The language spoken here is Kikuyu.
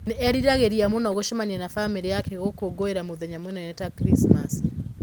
Nĩ eriragĩria mũno gũcemania na famĩlĩ yake gũkũngũĩra mũthenya mũnene ta Krismasi.